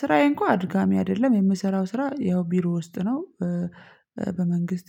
ስራዬ እንኳን አድካሚ አይደለም የምሰራው ስራ ያው ቢሮ ውስጥ ነው። በመንግስት